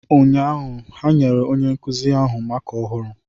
N'ụnyaahụ, ha nyere onye nkuzi ahụ maaká ọhụrụ.